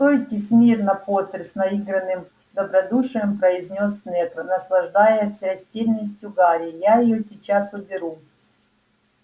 стойте смирно поттер с наигранным добродушием произнёс снегг наслаждаясь растерянностью гарри я её сейчас уберу